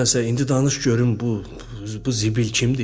Mənsə indi danış görüm bu, bu zibil kimdir?